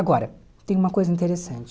Agora, tem uma coisa interessante.